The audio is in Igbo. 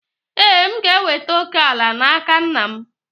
Ee, m ga-enweta òkè ala n'aka nna m